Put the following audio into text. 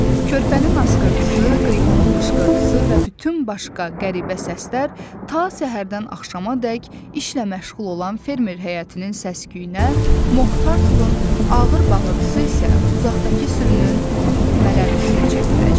Körpənin askırtısı, qrifonun qışqırtısı və bütün başqa qəribə səslər ta səhərdən axşamadək işlə məşğul olan fermer həyətinin səs-küyünə, Moktartlın ağır bağırtısı isə uzaqdakı sürünün mələrtisinə çevriləcək.